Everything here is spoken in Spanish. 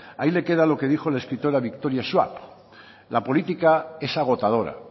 ahí le queda lo que dijo el escritor a victoria schwab la política es agotadora